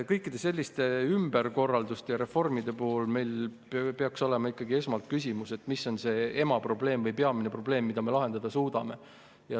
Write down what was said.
Kõikide selliste ümberkorralduste ja reformide puhul peaks meil olema ikkagi esmalt küsimus, mis on see emaprobleem või peamine probleem, mida me lahendada suudame.